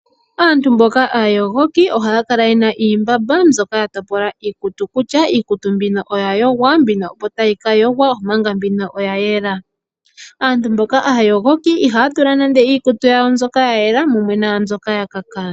Aantu mboka aayogoki, ohaya kala yena iimbamba mbyoka ya topola iikutu kutya; mbino oyayogwa, mbino opo tayi ka yogwa, omanga mbino oyayela. Aantu mboka aayogoki ihaya tula nande iikutu yawo mbyoka yayela, mumwe naambyoka yakaka.